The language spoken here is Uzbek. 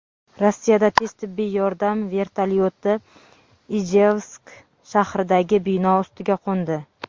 Rossiyada tez tibbiy yordam vertolyoti Ijevsk shahridagi bino ustiga qo‘ndi.